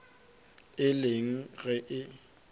e le eng ge e